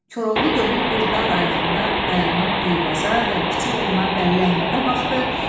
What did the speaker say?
Koroğlu dönüb bir dar ayağında dayanan Eyvaza, Dəmirçi oğluna, Bəllə Əhmədə baxdı,